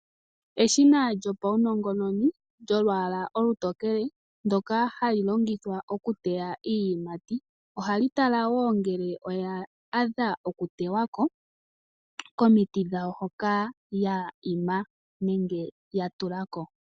Eshina lyopaunongononi lyolwaala olutokele ndoka hali longithwa okuteya iiyimati, ohali tala woo ngele oya adha okutewa ko komiti dhawo hoka ya ima nenge ya tula ko.